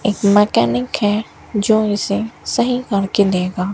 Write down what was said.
एक मैकेनिक है जो इसे सही करके देगा।